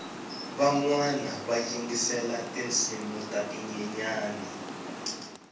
vanwana va yingisela tinsimu ta tinyenyani